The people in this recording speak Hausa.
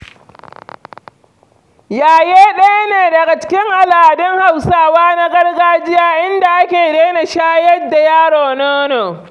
Yaye ɗaya ne daga cikin al'adun Hausawa na gargajiya, inda ake daina shayar da yaro nono.